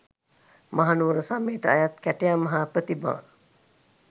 මහනුවර සමයට අයත් කැටයම් හා ප්‍රතිමා